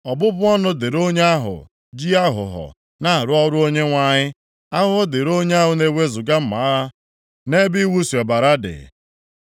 “Ọbụbụ ọnụ dịrị onye ahụ ji aghụghọ na-arụ ọrụ Onyenwe anyị. Ahụhụ dịrị onye na-ewezuga mma agha nʼebe iwusi ọbara dị.